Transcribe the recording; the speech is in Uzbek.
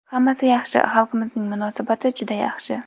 Hammasi yaxshi, xalqimizning munosabati juda yaxshi.